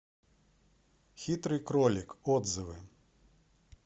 хитрый кролик отзывы